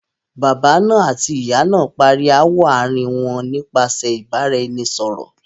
Baba náà àti ìyá náà parí ááwọ̀ àárín wọn nípasẹ̀ ìbára- ẹni- sọ̀rọ̀.